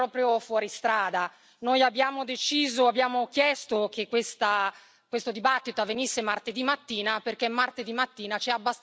Noi abbiamo deciso, abbiamo chiesto che questo dibattito avvenisse martedì mattina perché martedì mattina c'è abbastanza tempo per discuterlo.